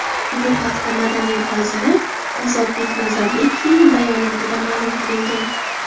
Bu haqda madaniyat vaziri Ozodbek Nazarbekovning bayonotida ma’lum qilingan .